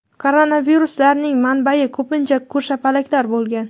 Koronaviruslarning manbai ko‘pincha ko‘rshapalaklar bo‘lgan.